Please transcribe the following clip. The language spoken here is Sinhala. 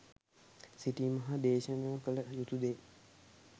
සිතීම හා දේශනා කළ යුතු දේ